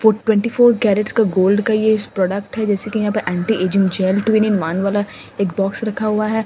Twenty four carats का gold का ये प्रोडक्ट है जैसे कि यहां पर anti ageing gel twin in one वाला एक बॉक्स रखा हुआ है।